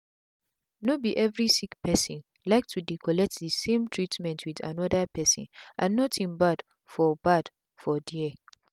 no be every sick person like to dey collect the same treatment with another person and nothing bad for bad for there.